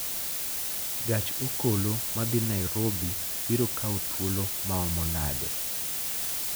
gach okolo ma dhi Nairobi biro kawo thuolo maomo nade?